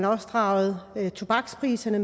også draget tobakspriserne